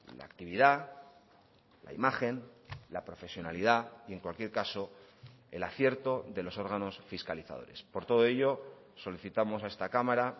la actividad la imagen la profesionalidad y en cualquier caso el acierto de los órganos fiscalizadores por todo ello solicitamos a esta cámara